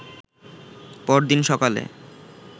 পরদিন সকালে